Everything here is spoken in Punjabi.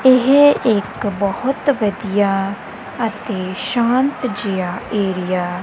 ਇਹ ਇੱਕ ਬਹੁਤ ਵਧੀਆ ਅਤੇ ਸ਼ਾਂਤ ਜਿਹਾ ਏਰੀਆ --